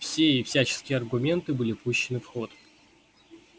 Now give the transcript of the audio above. все и всяческие аргументы были пущены в ход